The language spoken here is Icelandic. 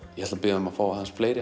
ég ætla að biðja um að fá aðeins fleiri